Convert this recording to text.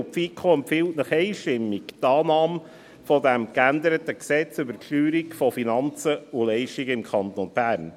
Die FiKo empfiehlt Ihnen einstimmig die Annahme dieses geänderten FLG im Kanton Bern.